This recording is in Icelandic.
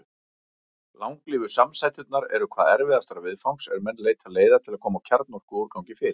Langlífu samsæturnar eru hvað erfiðastar viðfangs er menn leita leiða til að koma kjarnorkuúrgangi fyrir.